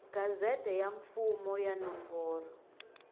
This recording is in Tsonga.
gazette ya mfumo ya nomboro